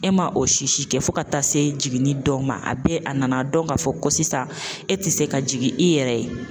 E ma o si si kɛ fo ka taa se jiginni dɔ ma a bɛ a nana dɔn k'a fɔ ko sisan e tɛ se ka jigin i yɛrɛ ye